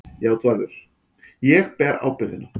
JÁTVARÐUR: Ég ber ábyrgðina.